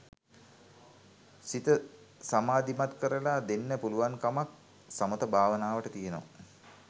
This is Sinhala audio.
සිත සමාධිමත් කරලා දෙන්න පුළුවන්කමක් සමථ භාවනාවට තියෙනවා.